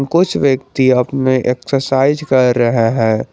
कुछ व्यक्ति अप में एक्सरसाइज कर रहे हैं।